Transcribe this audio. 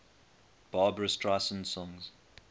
barbra streisand songs